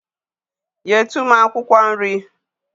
Nyetu m akwụkwọ nri.